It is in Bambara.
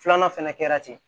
Filanan fɛnɛ kɛra ten